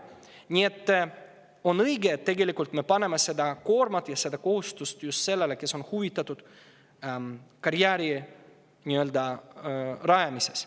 Nii et on õige panna see koorem ja kohustus just sellele, kes on huvitatud karjääri rajamisest.